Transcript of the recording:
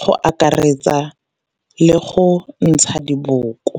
go akaretsa le go ntsha diboko.